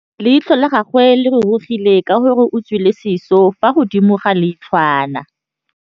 Leitlhô la gagwe le rurugile ka gore o tswile sisô fa godimo ga leitlhwana.